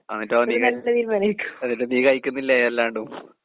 എന്നിട്ടോ നീ എന്നിട്ട് നീ കഴിക്കുന്നില്ലേ അല്ലാണ്ടും.